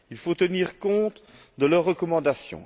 Il faut tenir compte de leurs recommandations.